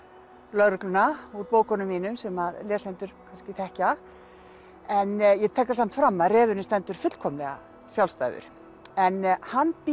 lögregluna úr bókunum mínum sem lesendur kannski þekkja en ég tek það samt fram að refurinn stendur fullkomlega sjálfstæður en hann býr